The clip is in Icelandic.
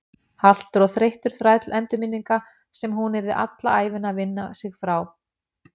Haltur og þreyttur þræll endurminninga sem hún yrði alla ævina að vinna sig frá.